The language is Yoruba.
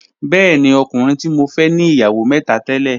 Bẹẹ̀ni, ọ̀kùnrin ti mọ fẹ̀ ní iyáwó mẹ́tà tẹ̀lẹ̀